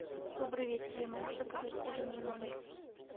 добрый вечер я могу заказать ужин в номер